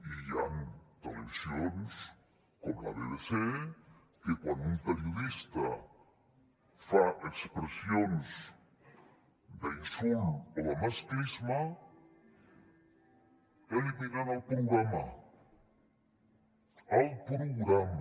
i hi han televisions com la bbc que quan un periodista fa expressions d’insult o de masclisme eliminen el programa el programa